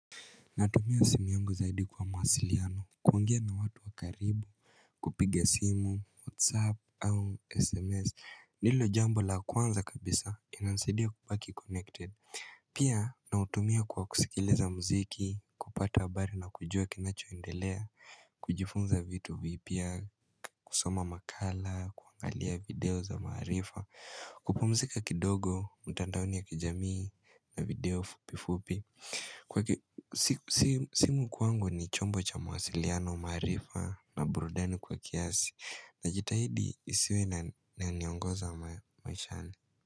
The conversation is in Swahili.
Natumia simu yangu zaidi kwa mawasiliano kuongea na watu wa karibu kupiga simu, whatsapp au sms ndilo jambo la kwanza kabisa inansidia kubaki connected Pia nautumia kwa kusikiliza mziki, kupata habari na kujua kinachoendelea kujifunza vitu vipya, kusoma makala, kuangalia video za maarifa kupumzika kidogo, mtandaoni ya kijamii na video fupi fupi simu kwangu ni chombo cha mawasiliano maarifa na burudani kwa kiasi Najitahidi isiwe inaniongoza maishani.